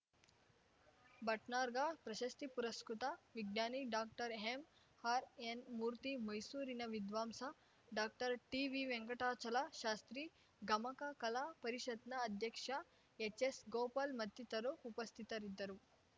ಭಟ್ನಾರ್ಗ ಪ್ರಶಸ್ತಿ ಪುರಸ್ಕತ ವಿಜ್ಞಾನಿ ಡಾಕ್ಟರ್ಎಂ ಆರ್‌ ಎನ್‌ ಮೂರ್ತಿ ಮೈಸೂರಿನ ವಿದ್ವಾಂಸ doctor T V Venkatachala Shastri ಗಮಕ ಕಲಾ ಪರಿಷತ್‌ನ ಅಧ್ಯಕ್ಷ ಎಚ್‌ ಎಸ್‌ ಗೋಪಾಲ್‌ ಮತ್ತಿತರು ಉಪಸ್ಥಿತರಿದ್ದರು